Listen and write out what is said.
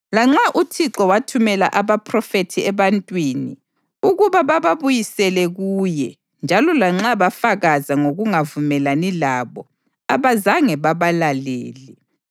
Lanxa uThixo wathumela abaphrofethi ebantwini ukuba bababuyisele kuye njalo lanxa bafakaza ngokungavumelani labo, abazange babalalele.